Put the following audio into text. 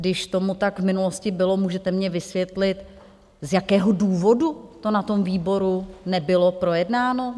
Když tomu tak v minulosti bylo, můžete mně vysvětlit, z jakého důvodu to na tom výboru nebylo projednáno?